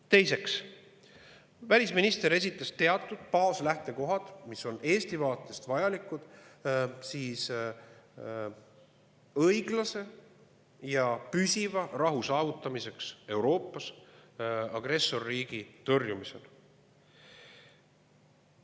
Teiseks, välisminister esitas teatud baaslähtekohad, mis on Eesti vaatest vajalikud Euroopas õiglase ja püsiva rahu saavutamiseks ning agressorriigi tõrjumisel.